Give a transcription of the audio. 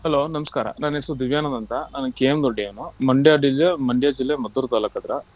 Hello ನಮಸ್ಕಾರ ನನ್ನ ಹೆಸರು ದಿವ್ಯಾನಂದ ಅಂತ. ನಾನು KM Doddi ಯವನು Mandya Mandya ಜಿಲ್ಲೆ Maddur ತಾಲ್ಲೂಕ ಆತ್ರಾ.